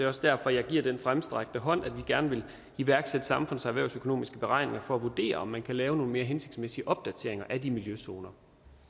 også derfor jeg giver den fremstrakte hånd at vi gerne vil iværksætte samfunds erhvervsøkonomiske beregninger for at vurdere om man kan lave nogle mere hensigtsmæssige opdateringer af de miljøzoner